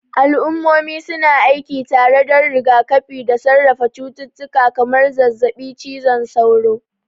Al'ummomi su na aiki tare don rigakafi da sarrafa cututtuka kamar zazzabin cizon sauro.